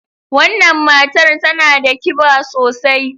Wannan matar tana da kiba sosai.